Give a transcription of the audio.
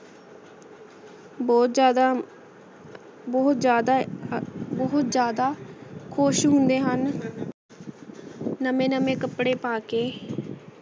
ਦੇਖ ਕੇ ਖੁਸ਼ੀ ਨਾਲ ਨਾਚ ਉਠਦਾ ਹੈ ਆਯ ਨਾ ਫਸਲਾਂ ਨਾਲ ਊ ਮਾਲਾ ਮਾਲ ਹੋ ਜਾਂਦਾ ਹੈ ਵਸਾਖੀ ਦੇ ਏਸ ਤੁਹਾਰ ਦੇ ਨਾਲ ਸਾਡੇ ਇਤਿਹਾਸ ਦੇ ਅਨ੍ਕੇਆਂ ਪੰਨੇ ਜੂਰੀ ਹੋਆਯ ਹਨ